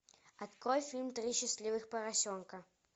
открой фильм три счастливых поросенка